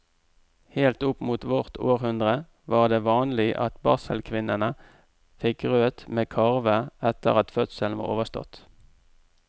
Helt opp mot vårt århundre var det vanlig at barselkvinnene fikk grøt med karve etter at fødselen var overstått.